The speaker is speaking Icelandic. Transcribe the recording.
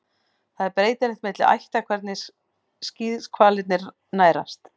Það er breytilegt milli ætta hvernig skíðishvalir nærast.